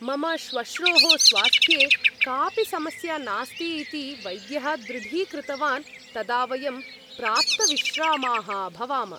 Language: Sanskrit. मम श्वश्रोः स्वास्थ्ये कापि समस्या नास्ति इति वैद्यः दृढीकृतवान् तदा वयं प्राप्तविश्रामाः अभवाम।